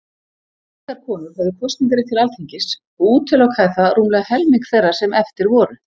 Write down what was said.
Engar konur höfðu kosningarétt til Alþingis, og útilokaði það rúmlega helming þeirra sem eftir voru.